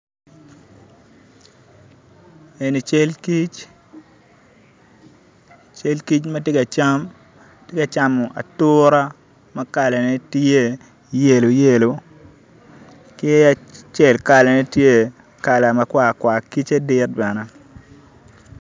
Eni cal kic cal kic ma ti ka cam atura ma kalane tye yelo yelo ki acel kalane tye makwar kwar kic-ce dit bene